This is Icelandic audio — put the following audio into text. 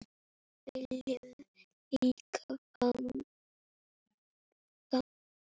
Við viljum líka fagna.